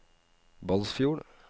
Balsfjord